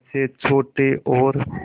जैसे छोटे और